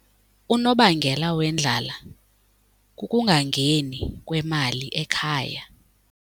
Unobangela wendlala kukungangeni kwemali ekhaya.